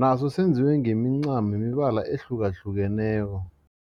naso senziwe ngemincamo yemibala ehlukahlukeneko.